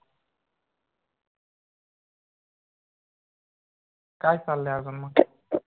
काय चाललंय अजून मग?